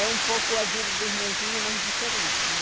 É um pouco a vida de irmãzinha, mas diferente, né?